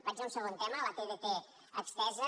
vaig a un segon tema la tdt estesa